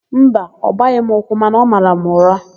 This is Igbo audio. Mba, ọ gbaghị m ụkwụ mana ọ mara m ụra.